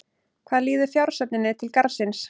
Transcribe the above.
Hvað líður fjársöfnuninni til Garðsins?